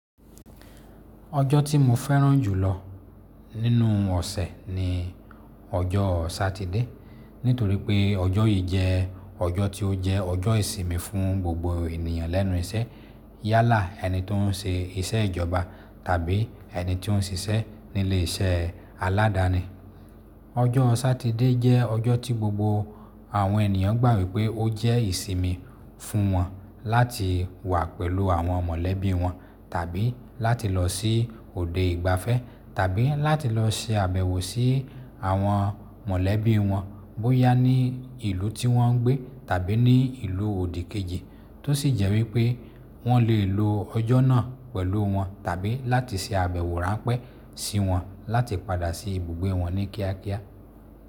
Ọjọ́ tí mo fẹ́ràn jùlọ nínú ọ̀sẹ̀ ni ọjọ́ Satide nítorí pé ọjọ́ yìí jẹ́ ọjọ́ tí ó jẹ́ ọjọ́ ìsimi fún gbogbo ènìyàn lẹ́nu iṣẹ́ yálà ẹni tó ń ṣe iṣẹ́ ìjọba tàbí ẹni tí ó ń ṣiṣẹ́ ní ilé iṣẹ́ aládàní. Ọjọ́ Satide jẹ́ ọjọ́ tí gbogbo àwọn ènìyàn gbà wí pé ó jẹ́ ìsinmi fún wọn láti wà pẹ̀lú àwọn mọ̀lẹ́bí wọn tàbí láti lọ sí òde ìgbafẹ́ tàbí láti lọ ṣe àbẹ̀wò sí àwọn mọ̀lẹ́bí wọn bóyá ní ìlú tí wọ́n ń gbé tàbí ní ìlú òdì kejì tó sì jẹ́ wí pé wọ́n lè lo ọjọ́ náà pẹ̀lú wọn tàbí láti ṣe àbẹ̀wò ráńpẹ́ sí wọn láti padà sí ibùgbé wọn ní kíákíá.